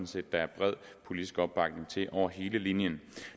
set der er bred politisk opbakning til over hele linjen